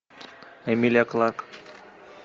эмилия кларк